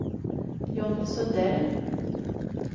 John Sundell